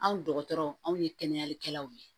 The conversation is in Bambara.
Anw dɔgɔtɔrɔ anw ye kɛnɛyalikɛlaw ye